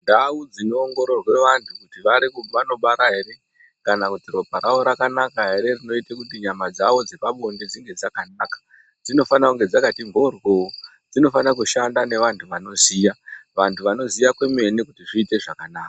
Ndau dzinoongororwa vantu kuti vanobara here kana kuti ropa ravo rakanaka here rinoita kuti nyama dzavo dzepabonde dzinge dzakanaka dzinofana kunge dzakati mhoryo dzinofana kushanda nevantu vanoziya vantu vanoziya kwemene kuti zviite zvakanaka.